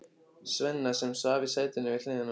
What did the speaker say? Svenna, sem svaf í sætinu við hliðina á honum.